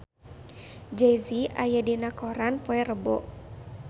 Jay Z aya dina koran poe Rebo